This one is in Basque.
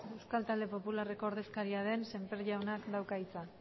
euskal talde popularreko ordezkaria den semper jaunak dauka hitza